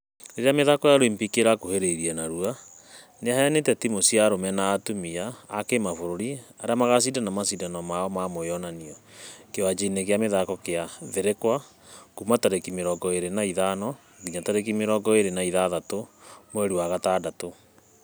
Rĩrĩa mĩthako ya olympic ĩrakuhĩreria narua, ....nĩhĩanĩte timũ cia arũme na atumia a kĩmabũrũri arĩa magashidana mashidano ma mwĩonanio . Kĩwanja-inĩ gĩa mĩthako dignity health thĩrikwa kuuma tarĩki mĩrongo ĩrĩ na ithano nginya tarĩki mĩrongo ĩrĩ na ithathatũ mweri wa gatandatũ.